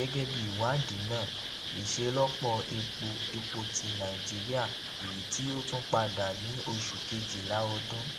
gẹgẹbi iwadi naa iṣelọpọ epo epo ti nàìjíríà eyiti o tun pada ni oṣu kejila ọdun